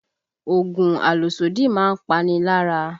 Oògùn àlòsódì máa ń pani lára